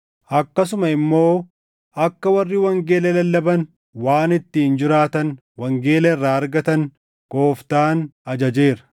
Akkasuma immoo akka warri wangeela lallaban waan ittiin jiraatan wangeela irraa argatan Gooftaan ajajeera.